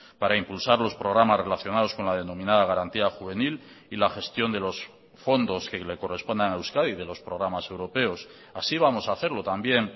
para impulsar los programas relacionados con la denominada garantía juvenil y la gestión de los fondos que le corresponden a euskadi de los programas europeos así vamos a hacerlo también